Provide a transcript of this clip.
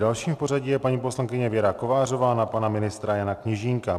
Další v pořadí je paní poslankyně Věra Kovářová na pana ministra Jana Kněžínka.